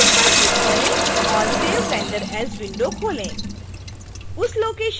choose पर click करें और save render as विंडो खोलें